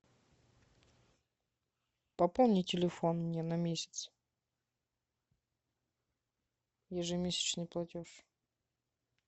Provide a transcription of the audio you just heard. пополни телефон мне на месяц ежемесячный платеж